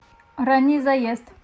ранний заезд